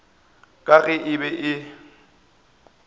ka ge e be e